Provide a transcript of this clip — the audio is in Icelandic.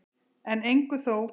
En engu þó.